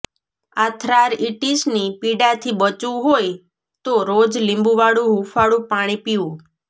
આર્થ્રાઇટિસની પીડાથી બચવું હોય તો રોજ લીંબુવાળું હૂંફાળું પાણી પીઓ